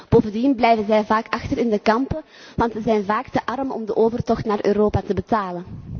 Bovendien blijven zij vaak achter in de kampen want ze zijn vaak te arm om de overtocht naar Europa te betalen.